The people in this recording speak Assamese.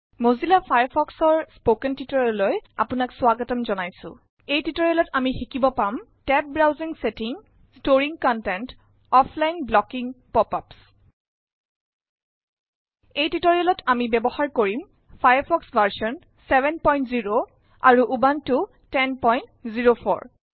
মজিল্লা ফায়াৰফক্স ৰ এই স্পকেন টিউটৰিয়েললৈ আপোনাক স্বাগতম জনাইছো। এই টিউটৰিয়েলত আমি শিকিব পাম টেবদ ব্ৰাউজিং চটিং কনটেনত অফলাইন ব্লকিং পপ আপচৰ বিষয়ে। এই টিউটৰিয়েলত আমি ব্যৱহাৰ কৰিম ফায়াৰফক্স ভাৰ্চন 70 উবুনটো 1004